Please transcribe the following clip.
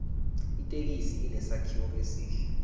ithekisi inesakhiwo esihle